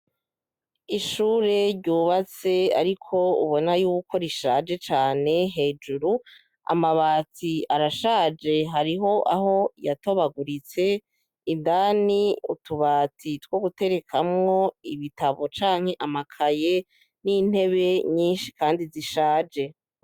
Ishure ryubatse ariko ubona y'uko rishaje cane. Hejuru, amabati arashaje, hariho aho yatobaguritse, indani, utubati two guterekamwo ibitabu canke amakaye, n'intebe nyinshi kandi zishaje.